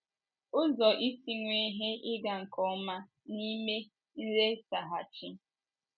Ụzọ Isi Nwee Ihe Ịga nke Ọma n’Ime Nletaghachi